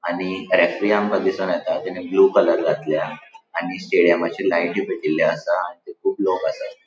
आणि रेफरी आमका दीसोन येता तेनी ब्लु कलर घातल्या आणि स्टेडियमाची लाइटी पेटेल्या आसा थंय कुब लोक आसा.